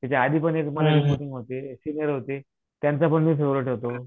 त्याच्या आधी पण होते सिनियर होते, त्यांचा पण मी फेव्हरेट होतो.